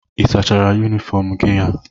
Ị sachara yunifọọm gị a?